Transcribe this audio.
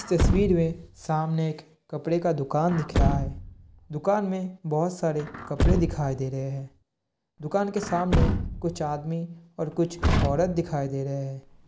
इस तस्वीर मे सामने एक कपड़े का दुकान दिख रहा है। दुकान मे बहुत सारे कपड़े दिखाई दे रहे है। दुकान के सामने कुछ आदमी और कुछ औरत दिखाई दे रहे है।